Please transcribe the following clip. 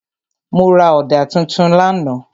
Mo ra ọ̀dà tuntun lánàá.